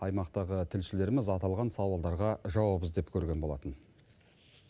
аймақтағы тілшілеріміз аталған сауалдарға жауап іздеп көрген болатын